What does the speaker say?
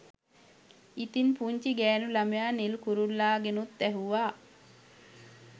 ඉතිං පුංචි ගෑණු ළමයා නිල් කුරුල්ලාගෙනුත් ඇහුවා